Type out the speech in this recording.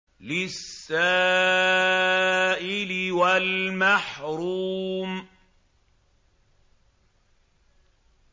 لِّلسَّائِلِ وَالْمَحْرُومِ